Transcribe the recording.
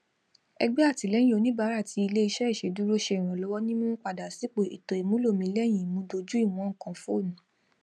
ẹgbẹ àtìlẹyìn oníbàárà ti iléiṣẹ iṣèdúró ṣe ìrànlọwọ ní mímúpadà sípò ètò ìmúlò mi lẹ́yìn ìmúdójúìwọn nǹkan fónù